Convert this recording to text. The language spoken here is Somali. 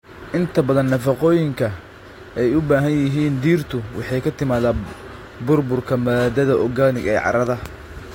Inta badan nafaqooyinka ay u baahan yihiin dhirtu waxay ka timaadaa burburka maadada organic ee carrada.